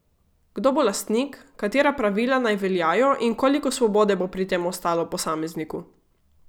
Kdo bo lastnik, katera pravila naj veljajo in koliko svobode bo pri tem ostalo posamezniku?